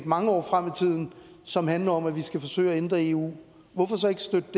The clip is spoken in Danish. mange år frem i tiden som handler om at vi skal forsøge at ændre eu hvorfor så ikke støtte